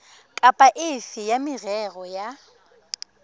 kapa efe ya merero ya